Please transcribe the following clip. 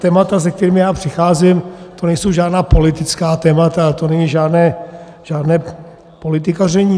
Témata, se kterými já přicházím, to nejsou žádná politická témata, to není žádné politikaření.